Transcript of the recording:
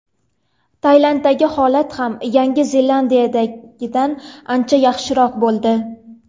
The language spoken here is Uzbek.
Tayvandagi holat ham Yangi Zelandiyadagidan ancha yaxshiroq bo‘ldi.